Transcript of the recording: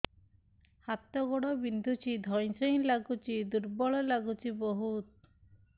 ହାତ ଗୋଡ ବିନ୍ଧୁଛି ଧଇଁସଇଁ ଲାଗୁଚି ଦୁର୍ବଳ ଲାଗୁଚି ବହୁତ